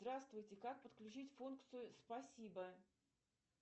здравствуйте как подключить функцию спасибо